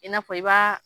I n'a fɔ i b'a